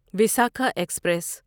Visakha express